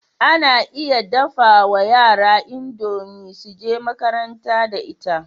Ana iya dafawa yara idomie suje makaranta da ita